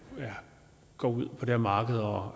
går ud på det her marked og